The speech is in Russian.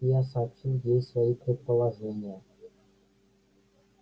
я сообщил ей свои предположения